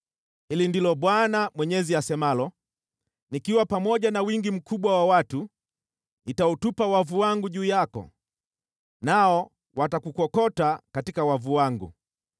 “ ‘Hili ndilo Bwana Mwenyezi asemalo: “ ‘Nikiwa pamoja na wingi mkubwa wa watu nitautupa wavu wangu juu yako, nao watakukokota katika wavu wangu.